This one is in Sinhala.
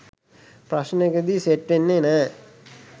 ප්‍රශ්නෙකදී සෙට් වෙන්නේ නැ